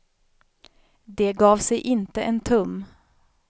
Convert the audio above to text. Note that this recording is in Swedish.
De gav sig inte en tum.